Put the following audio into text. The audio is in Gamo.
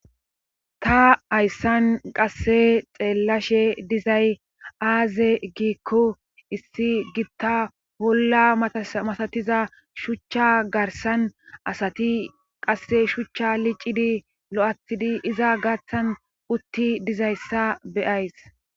Ta ayssan qasse xeellashe dizay aaze giikko issi gitta wolla matatiza shuchcha garsan asati qasse shuchcha liccidi lo7atidi iza gaththan utti dizayssa beyays.